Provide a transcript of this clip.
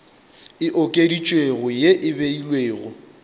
e okeditšwego ye e beilwego